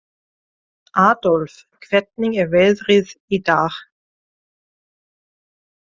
Aðólf, hvernig er veðrið í dag?